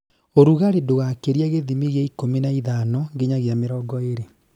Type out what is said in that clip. Ũrugarĩ ndũgakĩrie gĩthimi gĩa ikũmi na ithano nginyagia mĩrongo ĩrĩ